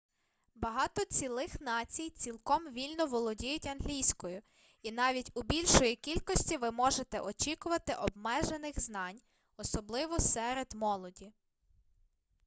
багато цілих націй цілком вільно володіють англійською і навіть у більшої кількості ви можете очікувати обмежених знань особливо серед молоді